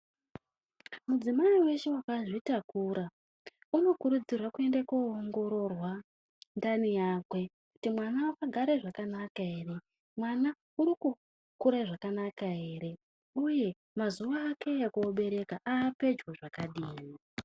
Mudzimai weshe wakazvitakura anokurudzirwa kuende koongororwa ndani yake kuti mwana wakagare zvakanaka ere Mwana urikukura zvakanaka ere uye mazuwa ake ekoberekwa aapedyo zvakadini.